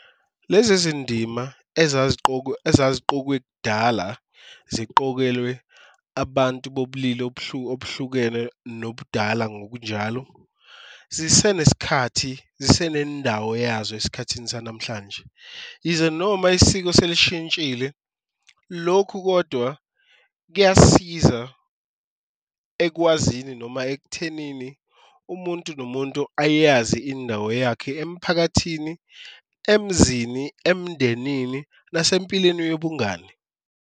Lezi izindima ezaziqokwe kudala ziqokelwe abantu bobulili obuhlukene nobudala ngokunjalo zisene sikhathi, zisene indawo yazo esikhathini sanamhlanje, yize noma isiko selishintshile. Lokhu kodwa kuyasiza ekwazini noma ekuthenini umuntu nomuntu ayazi indawo yakhe emphakathini, emzini, emndenini nasempilweni yobungani.